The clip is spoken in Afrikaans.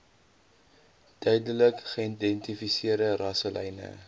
duidelik geïdentifiseerde rasselyne